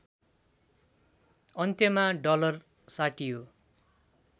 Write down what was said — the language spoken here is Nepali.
अन्त्यमा डलर साटियो